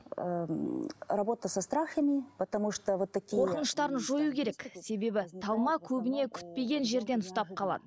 ы м работа со страхами потому что вот такие қорқыныштарын жою керек себебі талма көбіне күтпеген жерден ұстап қалады